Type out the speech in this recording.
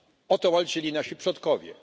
O to walczyli nasi przodkowie.